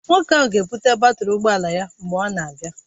Nwoke ahụ ga-ebụte batrị ụgbọ ala ya mgbe ọ na-abịa